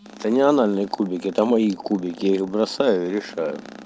это не анальный кубики это мои кубики я их бросаю и решаю